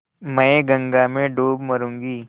मैं गंगा में डूब मरुँगी